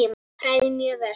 Hrærið mjög vel.